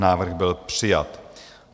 Návrh byl přijat.